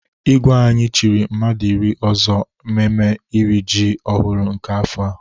Igwe anyị chiri mmadụ iri ọzọ mmemme iri iji ọhụrụ nke afọ a.